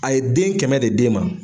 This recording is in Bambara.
A ye den kɛmɛ de d'e ma